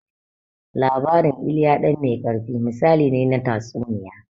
Labarin "Ilya ɗan mai ƙarfi", misali ne na tatsuniya.